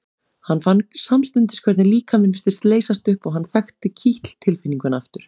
Hann fann samstundis hvernig líkaminn virtist leysast upp og hann þekkti kitl tilfinninguna aftur.